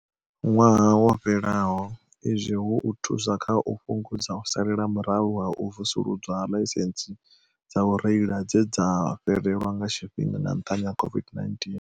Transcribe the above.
Ṅwaha wo fhelaho, izwi hu u thusa kha u fhungudza u salela murahu ha u vusuludzwa ha ḽaisentsi dza u reila dze dza fhelelwa nga tshifhinga nga nṱhani ha COVID-19.